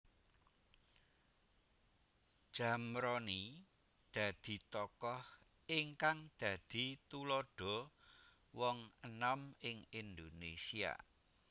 Zamroni dadi tokoh ingkang dadi tuladha wong enom ing Indonesia